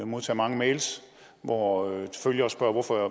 modtager mange mails hvor følgere spørger hvorfor